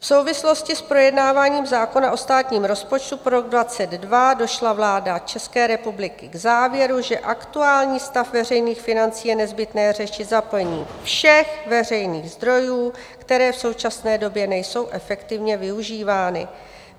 V souvislosti s projednáváním zákona o státním rozpočtu pro rok 2022 došla vláda České republiky k závěru, že aktuální stav veřejných financí je nezbytné řešit zapojením všech veřejných zdrojů, které v současné době nejsou efektivně využívány.